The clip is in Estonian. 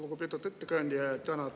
Lugupeetud ettekandja!